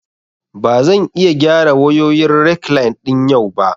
Ba zan iya gyara wayoyin rekline ɗin yau ba